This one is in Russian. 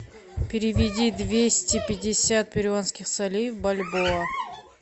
переведи двести пятьдесят перуанских солей в бальбоа